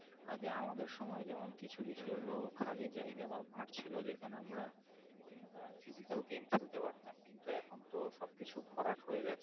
আগে আমাদের সময় যেমন কিছু লোক খালি জায়গা বা মাঠ ছিল যেখানে আমরা Physical খেলতে পারতাম কিন্তু এখন তো সবকিছু ভরাট হয়ে যাচ্ছে